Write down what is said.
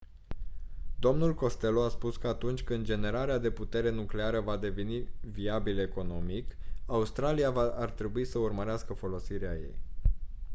dl costello a spus că atunci când generarea de putere nucleară va deveni viabilă economic australia ar trebui să urmărească folosirea ei